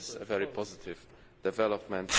This is a very positive development.